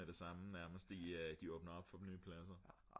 med det samme nærmest de åbner op for nye pladser ik